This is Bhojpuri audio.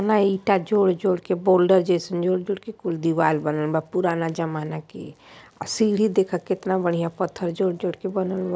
जूना ईटा जोड़-जोड़ के बोल्डर जइसन जोड़-जोड़ के कुछ दीवार बनन बा पुराना जमाना की और सीढ़ी देख कितना बढ़िया पत्थर जोड़-जोड़ के बनल बा।